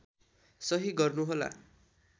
सहि गर्नु होला